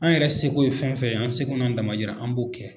An yɛrɛ seko ye fɛn fɛn ye an seko n'a damayira an b'o kɛ.